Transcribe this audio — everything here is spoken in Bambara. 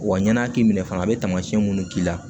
Wa ɲana k'i minɛ fana a be taamasiyɛn munnu k'i la